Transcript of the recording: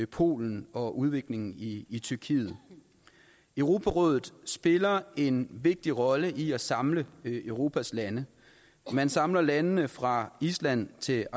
polen og udviklingen i i tyrkiet europarådet spiller en vigtig rolle i at samle europas lande man samler landene fra island til